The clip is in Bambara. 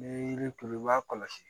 Ni yiri turu i b'a kɔlɔsi